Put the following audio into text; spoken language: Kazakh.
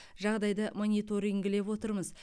жағдайды мониторингілеп отырмыз